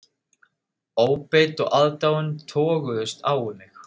Óbeit og aðdáun toguðust á um mig.